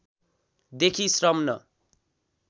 देखि श्रम न